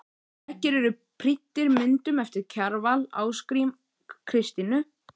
Veggir eru prýddir myndum eftir Kjarval, Ásgrím, Kristínu